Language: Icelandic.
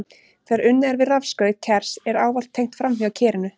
Þegar unnið er við rafskaut kers er ávallt tengt framhjá kerinu.